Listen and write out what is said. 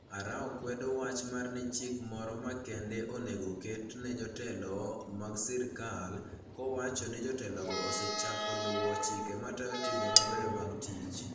Arao kwedo wach mar ni chik moro makende onego oket ne jotelo mag sirkal, kowacho ni jotelogo osechako luwo chike matayo timbe mabeyo mag tich.